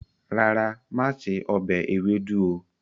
Rárá, máa ṣe ọbẹ̀ ewédú o.